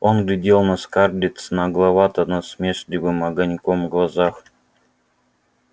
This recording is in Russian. он глядел на скарлетт с нагловато-насмешливым огоньком в глазах